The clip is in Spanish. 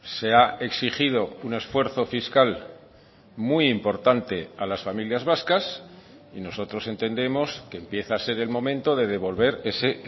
se ha exigido un esfuerzo fiscal muy importante a las familias vascas y nosotros entendemos que empieza a ser el momento de devolver ese